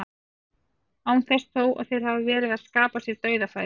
Án þess þó að þeir hafi verið að skapa sér dauðafæri.